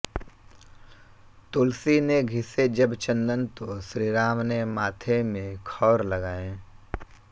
तुलसी ने घिसे जब चन्दन तो श्रीराम ने माथे में खौर लगाए